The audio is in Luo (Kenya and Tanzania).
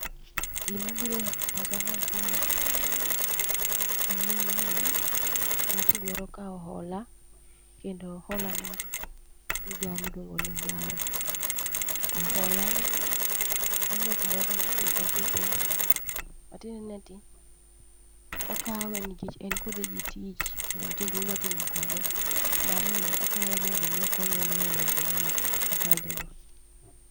Gima biro e pacha kar kae, en ni mae ng'atni dwaro kawo hola. Kendo hola mar migao miluongo ni Zara, to hola ni, aneno kumoro kondik ni purchases. Matiende ni ati, okawe nikech en kode gi tich, kendo nitie gimodwa timo kode. Ma omiyo okawe mondo mi okonye loyo lwenje ne machande go.